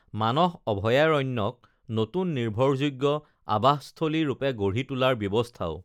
মানস অভয়াৰণ্যক নতুন নিৰ্ভৰযোগ্য আবাসস্থলী ৰূপে গঢ়ি তোলাৰ ব্যৱস্থাও